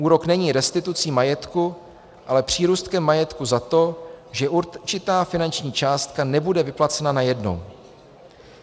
Úrok není restitucí majetku, ale přírůstkem majetku za to, že určitá finanční částka nebude vyplacena najednou.